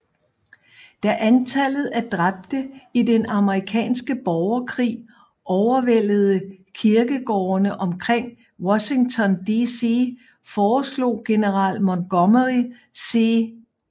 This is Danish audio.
Da antallet af dræbte i den Amerikanske Borgerkrig overvældede kirkegårdene omkring Washington DC foreslog general Montgomery C